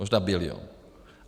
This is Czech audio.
Možná bilion.